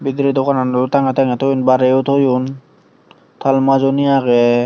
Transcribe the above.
bedire honalo tangey tang barey yo toyun tall majoney agey.